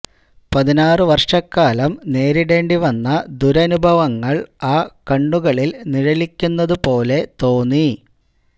പതിനാറു വര്ഷക്കാലം നേരിടേണ്ടി വന്ന ദുരനുഭവങ്ങള് ആ കണ്ണുകളില് നിഴലിക്കുന്നത് പോലെ തോന്നി